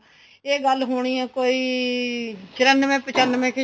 ਇਹ ਗੱਲ ਹੋਣੀ ਏ ਕੋਈ ਚੁਰਾਨਵੇ ਪਚਨਾਵੇ ਕੀ